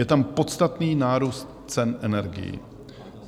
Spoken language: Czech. Je tam podstatný nárůst cen energií.